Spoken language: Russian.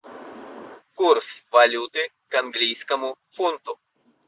курс валюты к английскому фунту